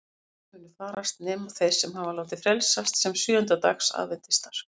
Allir munu farast nema þeir sem hafa látið frelsast sem sjöunda dags aðventistar.